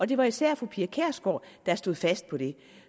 det var især fru pia kjærsgaard der stod fast på det